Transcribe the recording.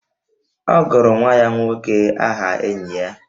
Ọ gụrụ nwa ya nwoke aha enyi ya